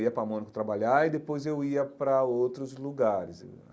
Eu ia para Mônaco trabalhar e depois eu ia para outros lugares.